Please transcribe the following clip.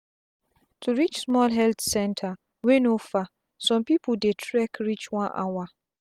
to reach small health center wey no far sum pipu dey trek reach one hour